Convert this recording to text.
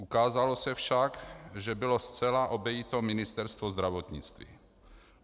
Ukázalo se však, že bylo zcela obejito Ministerstvo zdravotnictví.